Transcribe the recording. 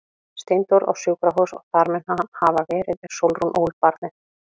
Steindór á sjúkrahús og þar mun hann hafa verið er Sólrún ól barnið.